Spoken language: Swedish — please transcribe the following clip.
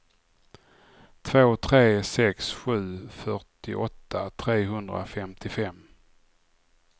två tre sex sju fyrtioåtta trehundrafemtiofem